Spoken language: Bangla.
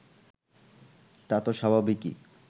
তা তো স্বাভাবিকই